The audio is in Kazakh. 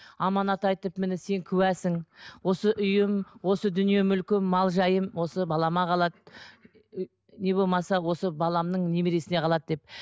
аманат айтып міне сен куәсің осы үйім осы дүние мүлкім мал жайым осы балама қалады не болмаса осы баламның немересіне қалады деп